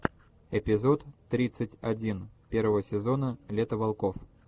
эпизод тридцать один первого сезона лето волков